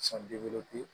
San bi